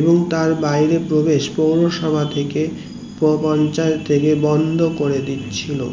এবং তার বাইরে প্রবেশ পৌরসভা থেকে বা পঞ্চায়েত থেকে বন্ধ করে দিছিলো